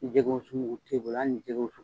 Jɛgɛ wusu o t'e bolo, hali ni jɛgɛ wusu.